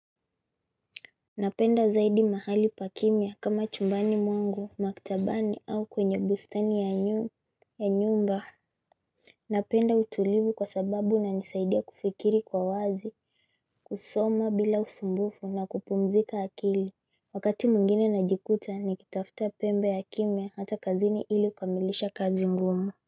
Napenda zaidi mahali pakimia kama chumbani mwangu, maktabani au kwenye bustani ya nyumba. Napenda utulivu kwa sababu na nisaidia kufikiri kwa wazi, kusoma bila usumbufu na kupumzika akili. Wakati mwingine najikuta nikitafta pembe ya kimia hata kazini ili kumilisha kazi ngumu.